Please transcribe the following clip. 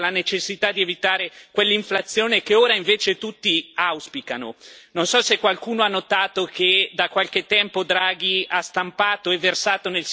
Non so se qualcuno ha notato che da qualche tempo Draghi ha stampato e versato nel sistema dell'eurozona migliaia di miliardi di euro e il risultato qual è stato?